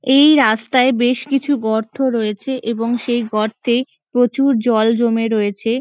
এই রাস্তায় বেশ কিছু গর্ত রয়েছে এবং সেই গর্তে প্রচুর জল জমে রয়েছে।